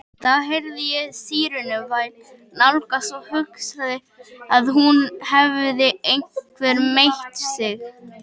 Þá heyrði ég sírenuvæl nálgast og hugsaði að nú hefði einhver meitt sig.